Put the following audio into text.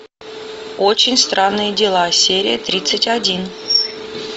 очень странные дела серия тридцать один